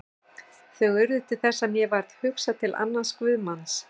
Þau urðu til þess að mér varð hugsað til annars guðsmanns.